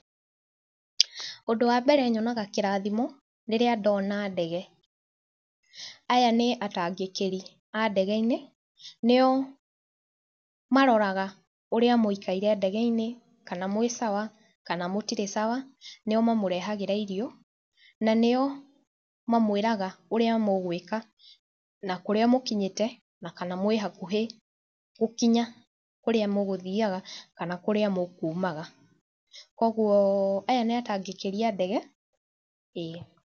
Ũndũ wambere nyonaga kĩrathimo rĩrĩa ndona ndege . Aya nĩ atangĩkĩri a ndege-inĩ nio maroraga ũrĩa mũikaire ndege-inĩ kana mwĩ sawa kana mũtirĩ sawa. Nĩo mamũrehagĩra irio na nĩo mamwĩraga ũrĩa mũgwĩka na kũrĩa mũkinyĩte na kana mwĩ hakuhĩ gũkinya kũrĩa mũgũthiaga kana kũrĩa mũkumaga. Kũguo aya nĩ atangĩkĩri a ndege ĩĩ.